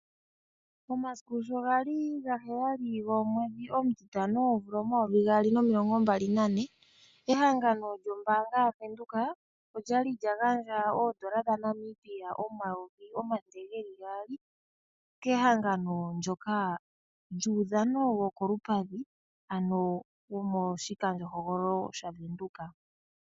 Omasiku shogali 7 gaMei 2024 ehangano lyombaanga yaVenduka okwali lyagandja oondola dhaNamibia omayovi omathele geli gaali kehangano ndyoka lyuudhano wokolupadhi ano womoshikandjohogololo shaVenduka.